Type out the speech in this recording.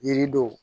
Yiridenw